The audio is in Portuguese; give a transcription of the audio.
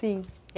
Sim.